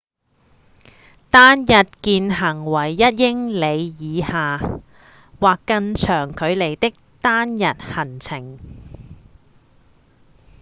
單日健行為一英里以下或更長距離的單日行程